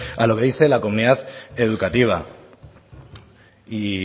a lo que dice la comunidad educativa y